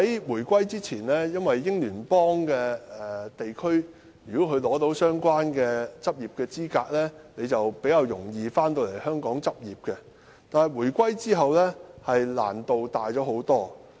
回歸前，在英聯邦地區取得相關執業資格的醫生，比較容易回港執業，但回歸後，難度大增。